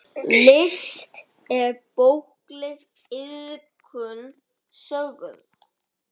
List er bókleg iðkun sögð.